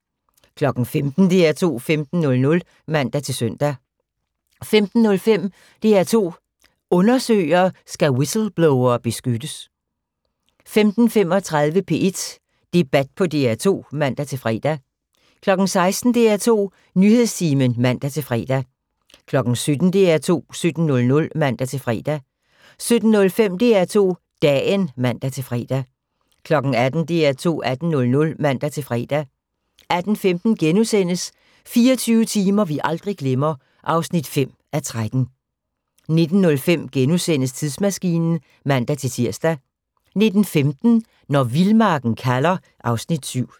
15:00: DR2 15.00 (man-søn) 15:05: DR2 Undersøger: Skal whistleblowere beskyttes? 15:35: P1 Debat på DR2 (man-fre) 16:00: DR2 Nyhedstimen (man-fre) 17:00: DR2 17.00 (man-fre) 17:05: DR2 Dagen (man-fre) 18:00: DR2 18.00 (man-fre) 18:15: 24 timer vi aldrig glemmer (5:13)* 19:05: Tidsmaskinen *(man-tir) 19:15: Når vildmarken kalder (Afs. 7)